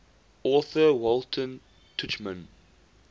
author walter tuchman